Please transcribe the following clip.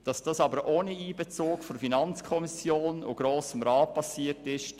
Allerdings können wir nicht verstehen, dass dies ohne Einbezug von FiKo und Grossem Rat erfolgt ist.